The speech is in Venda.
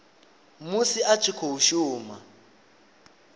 musi a tshi khou shuma